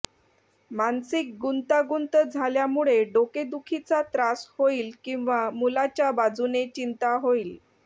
मानसिक गुंतागुंत झाल्यामुळे डोकेदुखीचा त्रास होईल किंवा मुलाच्या बाजूने चिंता होईल